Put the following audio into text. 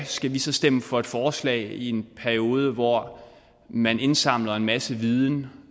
skal vi så stemme for et forslag i en periode hvor man indsamler en masse viden